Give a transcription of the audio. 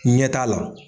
Ɲɛ t'a la